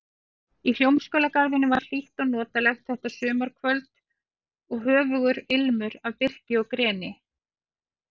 Í Hljómskálagarðinum var hlýtt og notalegt þetta sumarkvöld og höfugur ilmur af birki og greni.